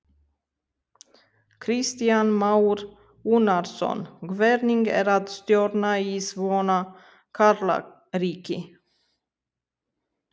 Kristján Már Unnarsson: Hvernig er að stjórna í svona karlaríki?